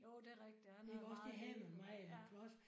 Jo det er rigtigt. Han havde meget Lego